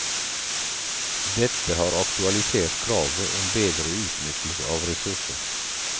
Dette har aktualisert kravet om bedre utnyttelse av ressurser.